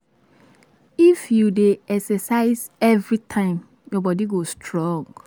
If you dey exercise every time, your body go strong.